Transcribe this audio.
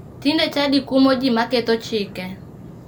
Tinde chadi kumo ji maketho chike.